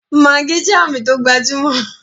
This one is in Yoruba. Maggi jẹ́ Àmì tó gbajúmọ̀